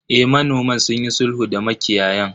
Eh, manoman sunyi sulhu da makiyayan.